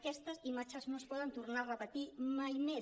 aquestes imatges no es poden tornar a repetir mai més